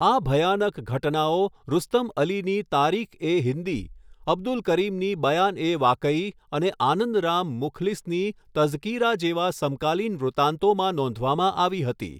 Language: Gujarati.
આ ભયાનક ઘટનાઓ રુસ્તમ અલીની તારીખએ હિંદી, અબ્દુલ કરીમની બયાનએ વાકઈ અને આનંદ રામ મુખ્લીસની તઝકીરા જેવા સમકાલીન વૃતાંતોમાં નોંધવામાં આવી હતી.